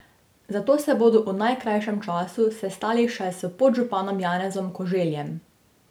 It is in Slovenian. Zato se bodo v najkrajšem času sestali še s podžupanom Janezom Koželjem.